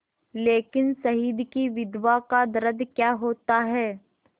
लेकिन शहीद की विधवा का दर्द क्या होता है